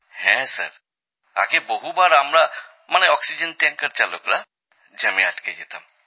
হ্যাঁ স্যার আগে বহুবার আমরা মানে অক্সিজেন ট্যাঙ্কার চালকরা জ্যামে আটকে থাকতাম